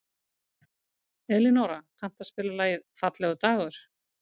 Elinóra, kanntu að spila lagið „Fallegur dagur“?